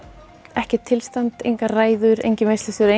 ekkert tilstand engar ræður enginn veislustjóri